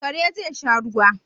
Kare za sha ruwa